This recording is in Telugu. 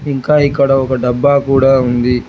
ఇంకా ఇక్కడ ఒక డబ్బా కూడా ఉంది.